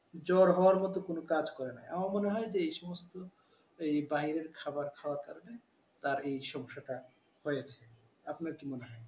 জ্বর হওয়ার মতো কোনো কাজ করেনি আমার মনে হয় যে এই সমস্ত এইবাহিরের খাবার খাওয়ার কারণে তার এই সমস্যাটা হয়েছে আপনার কি মনে হয়?